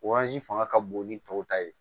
fanga ka bon ni tɔw ta ye